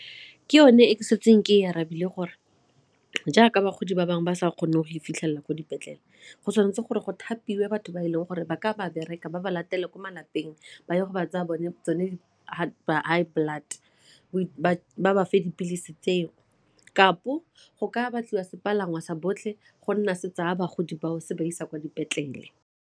Ke yone e ke setseng ke e arabile gore jaaka bagodi ba bangwe ba sa kgone go fitlhelela ko dipetlele go tshwanetse gore go thapiwe batho ba e leng gore ba ka ba bereka ba ba latele ko malapeng ba ye go ba tsaya tsone di-high blood ba fa dipilisi tseo kampo go ka batliwa sepalangwa sa botlhe go nna setse a bagodi bao se ba isa kwa dipetlele.